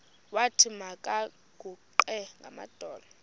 wathi makaguqe ngamadolo